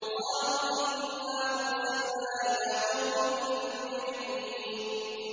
قَالُوا إِنَّا أُرْسِلْنَا إِلَىٰ قَوْمٍ مُّجْرِمِينَ